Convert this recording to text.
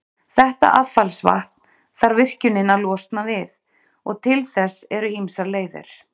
Þetta affallsvatn þarf virkjunin að losna við, og til þess eru ýmsar leiðir.